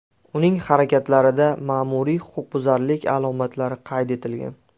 Uning harakatlarida ma’muriy huquqbuzarlik alomatlari qayd etilgan.